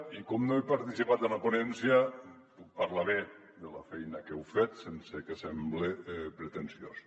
i com no he participat en la ponència puc parlar bé de la feina que heu fet sense que semble pretensiós